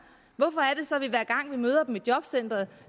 vi møder dem i jobcenteret